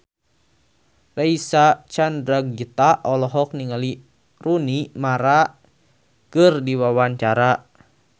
Reysa Chandragitta olohok ningali Rooney Mara keur diwawancara